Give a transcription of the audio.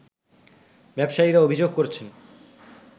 ব্যবসায়ীরা অভিযোগ করছেন